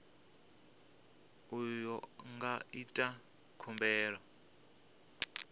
uyo a nga ita khumbelo